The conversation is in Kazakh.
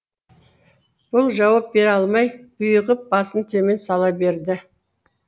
бұл жауап бере алмай бұйығып басын төмен сала берді